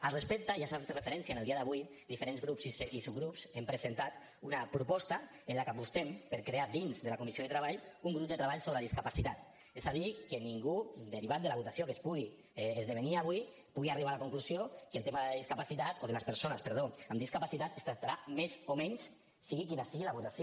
al respecte ja s’hi ha fet referència en el dia d’avui diferents grups i subgrups hem presentat una proposta en la que apostem per crear dins de la comissió de treball un grup de treball sobre discapacitat és a dir que ningú derivat de la votació que es pugui esdevenir avui pugui arribar a la conclusió que el tema de la discapacitat o de les persones perdó amb discapacitat es tractarà més o menys sigui quina sigui la votació